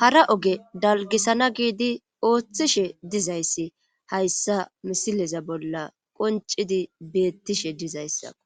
hara oge dalgisana giidi ooththishe dizayssi hayssa misileza bolla qoncidi beettishe dizayssako.